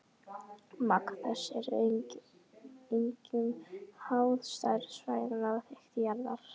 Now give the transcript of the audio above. Magn þess er einkum háð stærð svæðanna og þykkt jarðlaga.